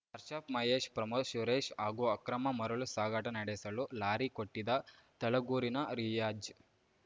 ಅಶ್ರಫ್‌ ಮಹೇಶ್‌ ಪ್ರಮೋದ್‌ ಸುರೇಶ್‌ ಹಾಗೂ ಅಕ್ರಮ ಮರಳು ಸಾಗಾಟ ನಡೆಸಲು ಲಾರಿ ಕೊಟ್ಟಿದ್ದ ತಲಗೂರಿನ ರಿಯಾಜ್‌